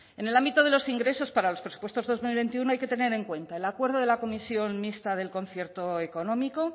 en el ámbito de los ingresos para los presupuestos de dos mil veintiuno hay que tener en cuenta el acuerdo de la comisión mixta del concierto económico